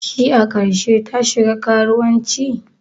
Shi a karshe ta shiga karuwancin?